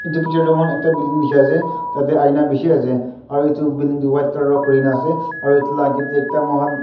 edu picture moikhan ekta building dikhiase tateae aina bishi ase aru edu building tu white colour wra kurina ase aru edu la akae tae ekta mohan--